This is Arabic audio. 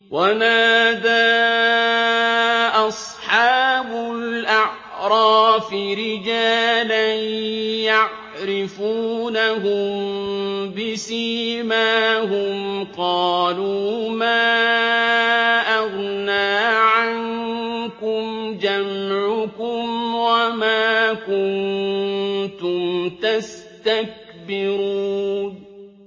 وَنَادَىٰ أَصْحَابُ الْأَعْرَافِ رِجَالًا يَعْرِفُونَهُم بِسِيمَاهُمْ قَالُوا مَا أَغْنَىٰ عَنكُمْ جَمْعُكُمْ وَمَا كُنتُمْ تَسْتَكْبِرُونَ